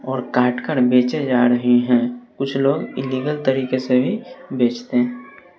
और काट कर बेचे जा रहे हैं कुछ लोग इलीगल तरीके से भी बेचते--